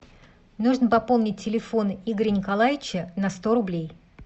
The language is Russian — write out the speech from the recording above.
нужно пополнить телефон игоря николаевича на сто рублей